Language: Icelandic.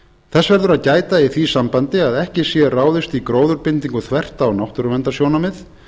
þess verður að gæta í því sambandi að ekki sé ráðist í gróðurbindingu þvert á náttúruverndarsjónarmið